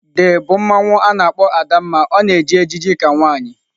The bụ mmanwu a na-akpọ Adanma ọ na-eji ejiji ka nwanyị.